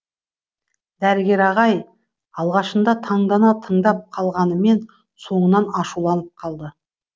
дәрігер ағай алғашында таңдана тыңдап қалғанымен соңынан ашуланып қалды